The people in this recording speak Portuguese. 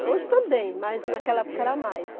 Hoje também, mas naquela época era mais.